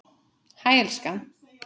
Hæ, elskan.